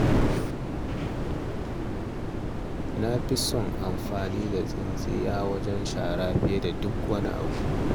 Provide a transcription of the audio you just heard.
Na fi don amfani da tsintsiya wajen yin shara fiye da duk wani abu